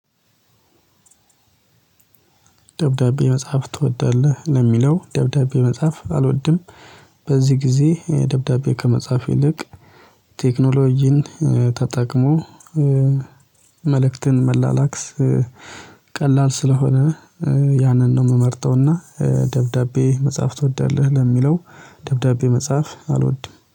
ደብዳቤ መጽሐፍ ትወዳለህ ለሚለው ደብዳቤ መጽሐፍ አልወድም። በዚህ ጊዜ ደብዳቤ ከመጻፍ ይልቅ ቴክኖሎጂን ተጠቅሞ መልእክትን መላላክስ ቀላል ስለሆነ ያንን ነው የምመርጠውና። ደብዳቤ መጽሐፍ ትወዳለህ ለሚለው ደብዳቤ መጽሐፍ አልወድም